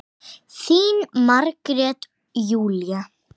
Þín Margrét Júlía.